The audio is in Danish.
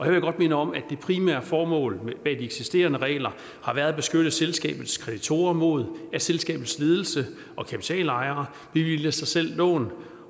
jeg godt minde om at det primære formål bag de eksisterende regler har været at beskytte selskabets kreditorer mod at selskabets ledelse og kapitalejere bevilger sig selv lån